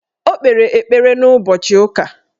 O kpere ekpere n'ụbọchị ụka